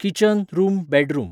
kitchen room bedroom